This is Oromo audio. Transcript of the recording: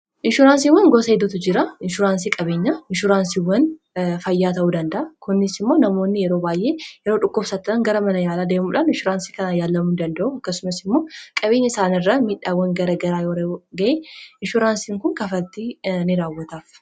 inshuraansiiwwan gosa heddetu jira inshuraansii qabeenya inshuraansiiwwan fayyaa ta'uu dandaa kunis immoo namoonni yeroo baay'ee yeroo dhukkobsattan gara mana yaalaa deemuudhaan inshuuraansii kanaa yaalamuun danda'u akkasumas immoo qabeenya isaanirra miidhaawwan gara garaa yora ga'ee inshuraansiin kun kafatti ni raawwataaf